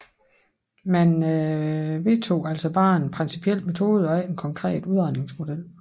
Man vedtog altså bare en principiel metode og ikke en konkret udregningsmodel